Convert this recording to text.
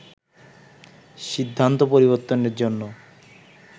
সিদ্ধান্ত পরিবর্তনের জন্য